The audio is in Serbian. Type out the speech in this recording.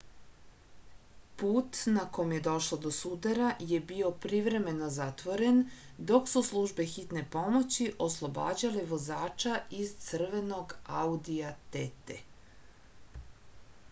put na kom je došlo do sudara je bio privremeno zatvoren dok su službe hitne pomoći oslobađale vozača iz crvenog audija tt